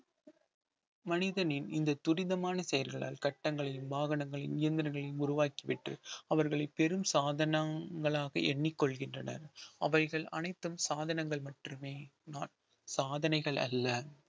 மனிதனின் இந்த துரிதமான செயல்களால் கட்டங்களையும் வாகனங்களையும் இயந்திரங்களையும் உருவாக்கி விட்டு அவர்களை பெரும் சாதனைகளாக எண்ணிக் கொள்கின்றனர் அவைகள் அனைத்தும் சாதனங்கள் மட்டுமே சாதனைகள் அல்ல